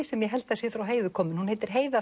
sem ég held að sé frá Heiðu kominn hún heitir Heiða